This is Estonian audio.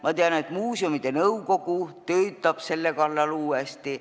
Ma tean, et muuseuminõukogu töötab selle kallal uuesti.